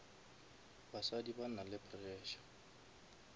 basadi ba nale pressure